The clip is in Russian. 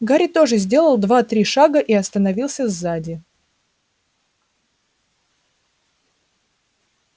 гарри тоже сделал два-три шага и остановился сзади